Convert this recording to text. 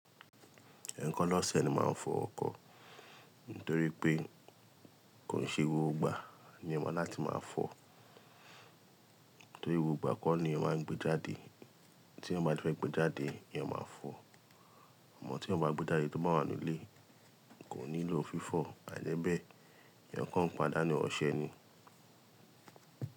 Ẹ̀ẹ̀kan lọ́sẹ̀ ni máa ń fọ ọkọ̀. Nítorí pé kò ṣe gbògbo igbà ní ọmọ láti máa fọ. Nítorí gbògbo igbà kọ́ ni ó máa ń gbé jáde. Tí eeyan bá fẹ́ gbé jáde, eeyán maá fọ. Amọ tí eeyan báa gbé jáde tó bá wà nínú ilé, kò nílò fífọ̀. Àìje bẹ́ẹ̀, eeyán kan ń padà ní ọ̀sẹ̀ ni.